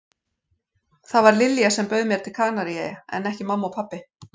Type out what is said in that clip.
Það var Lilja sem bauð mér til Kanaríeyja en ekki mamma og pabbi.